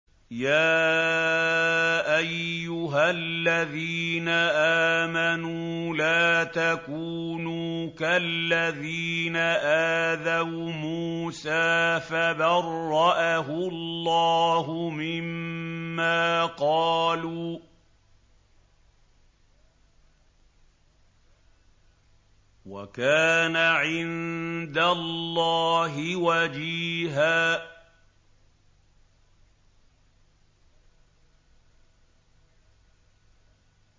يَا أَيُّهَا الَّذِينَ آمَنُوا لَا تَكُونُوا كَالَّذِينَ آذَوْا مُوسَىٰ فَبَرَّأَهُ اللَّهُ مِمَّا قَالُوا ۚ وَكَانَ عِندَ اللَّهِ وَجِيهًا